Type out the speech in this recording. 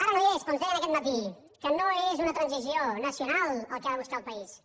ara no hi és però ens deia aquest matí que no és una transició nacional el que ha de buscar el país